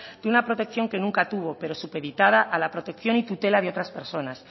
que una protección que nunca tuvo pero supeditada a la protección y tutela de otras personas